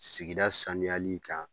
Sigida saniyali kan